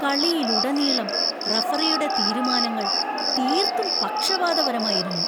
കളിയിലുടനീളം റഫറിയുടെ തീരുമാനങ്ങൾ തീർത്തും പക്ഷപാതപരമായിരുന്നു.